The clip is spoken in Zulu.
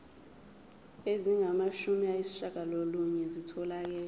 ezingamashumi ayishiyagalolunye zitholakele